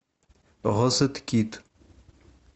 розеткид